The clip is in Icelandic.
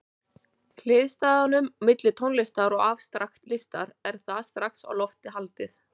Hliðstæðunum milli tónlistar og afstrakt listar er þar strax á lofti haldið.